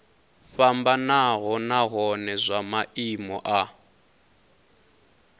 fhambanaho nahone zwa maimo a